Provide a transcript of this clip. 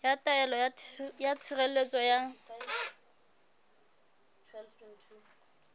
ya taelo ya tshireletso ya